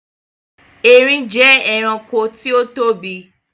Erin jẹ ẹranko tí ó tóbi